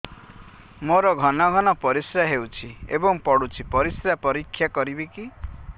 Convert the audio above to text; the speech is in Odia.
ମୋର ଘନ ଘନ ପରିସ୍ରା ହେଉଛି ଏବଂ ପଡ଼ୁଛି ପରିସ୍ରା ପରୀକ୍ଷା କରିବିକି